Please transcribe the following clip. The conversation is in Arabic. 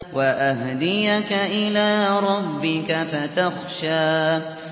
وَأَهْدِيَكَ إِلَىٰ رَبِّكَ فَتَخْشَىٰ